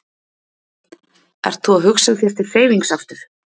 Ert þú að hugsa þér til hreyfings aftur?